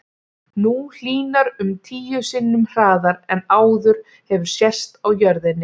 Nú hlýnar um tíu sinnum hraðar en áður hefur sést á jörðinni.